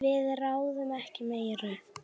Við ráðum ekki meiru.